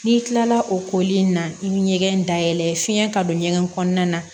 N'i kilala o koli in na i be ɲɛgɛn dayɛlɛ fiɲɛ ka don ɲɛgɛn kɔnɔna na